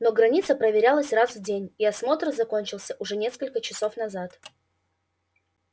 но граница проверялась раз в день и осмотр закончился уже несколько часов назад